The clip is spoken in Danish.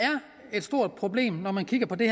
et stort problem når man kigger på det